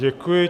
Děkuji.